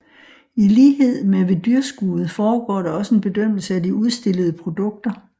I lighed med ved dyrskuet foregår der også en bedømmelse af de udstillede produkter